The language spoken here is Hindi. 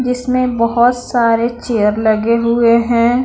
इसमें बहुत सारे चेयर लगे हुए हैं।